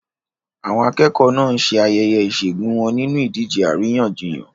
Àwọn akẹ́kọ̀ọ́ náà ń ṣe ayẹyẹ ìṣẹ́gun wọn nínú ìdíje àríyànjiyàn.